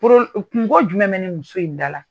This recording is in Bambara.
[? Kungo jumɛn bɛ ni muso in da la